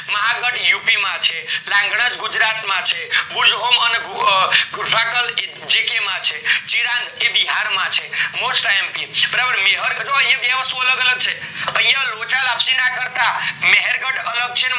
Mahagadh UP માં છે રંગના ગુજરાત માં છે, બુજ હોમ અને ગુફાકલ એ માં છે, છે એ બિહાર માં છે mostIMP યા બે વસ્તુ અલગ અલગ છે લોચા લપસી ના કરતા મહેર્ગઢ અલગ છે ને